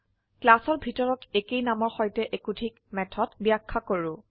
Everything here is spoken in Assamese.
ক্লাসৰ ভিতৰত একেই নামৰ সৈতে একাধিক মেথড ব্যাখ্যা কৰো